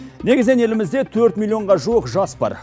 негізінен елімізде төрт миллионға жуық жас бар